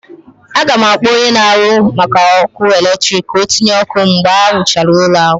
Aga m akpọ onye na-ahụ maka ọkụ eletrik ka ọ tịnye ọkụ mgbe ha rụchara ụlọ ahụ